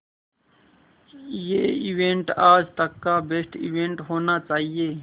ये इवेंट आज तक का बेस्ट इवेंट होना चाहिए